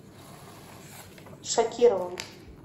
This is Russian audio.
шакировым